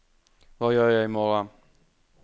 hva gjør jeg imorgen